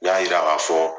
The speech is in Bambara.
N y'a yira k'a fɔ